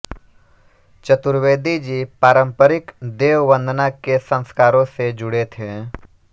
चतुर्वेदी जी पारम्परिक देव वंदना के संस्कारों से जुड़े थे